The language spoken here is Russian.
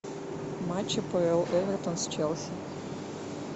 матч апл эвертон с челси